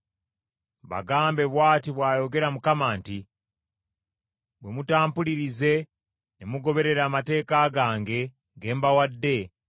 Bagambe, bw’ati bw’ayogera Mukama nti, ‘Bwe mutampulirize ne mugoberera amateeka gange ge mbawadde,